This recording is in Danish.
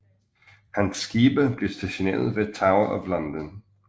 Hans skibe blev stationeret ved Tower of London